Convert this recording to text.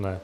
Ne.